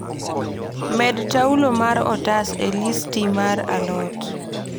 Med taulo mar otas e listi mar alot